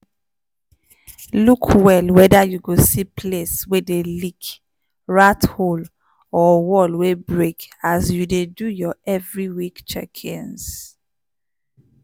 look well whether you go see place wey dey leak rat hole or wall wey break as you dey do your every week checkings.